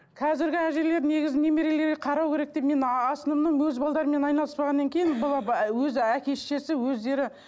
қазіргі әжелер негізі немерелерге қарау керек деп мен основном өз балдарыммен айналыспағаннан кейін было бы өзі әке шешесі өздері